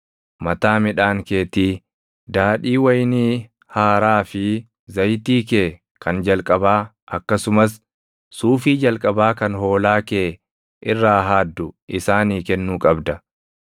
Mataa midhaan keetii, daadhii wayinii haaraa fi zayitii kee kan jalqabaa akkasumas suufii jalqabaa kan hoolaa kee irraa haaddu isaanii kennuu qabda;